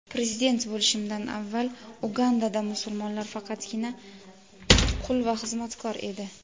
Prezident bo‘lishimdan avval Ugandada musulmonlar faqatgina qul va xizmatkor edi.